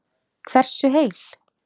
Hversu heil